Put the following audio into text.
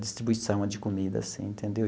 distribuição de comida, assim, entendeu?